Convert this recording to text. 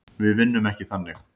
Við vinnum ekki þannig.